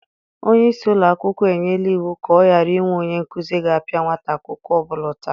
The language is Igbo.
Onye isi ụlọ akwụkwọ enyela iwu ka ọ ghara inwe onye nkụzi ga-apịa nwata akwụkwọ ọ bụla ụtarị.